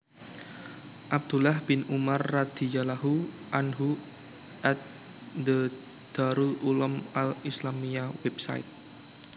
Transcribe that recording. Abdullah bin Umar radhiyallahu anhu at The Darul Uloom Al Islamiyya Website